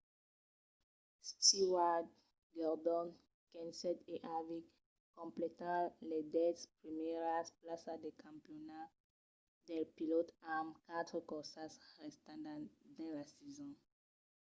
stewart gordon kenseth e harvick completan las dètz primièras plaças del campionat dels pilòts amb quatre corsas restantas dins la sason